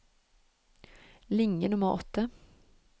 Linje nummer åtte